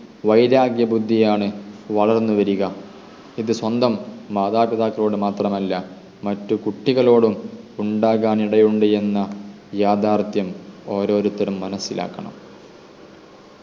വൈരാഗ്യ ബുദ്ധിയാണ് വളർന്നുവരിക ഇത് സ്വന്തo മാതാപിതാക്കളോട് മാത്രമല്ല മറ്റു കുട്ടിക്കളോടും ഉണ്ടാകാൻ ഇടയുണ്ട് എന്ന യാഥാർഥ്യം ഓരോരുത്തരും മനസ്സിലാക്കണം